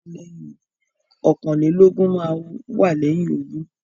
Ọ̀kàn-lé-lógún máá ń wá lẹ́yìn ogún.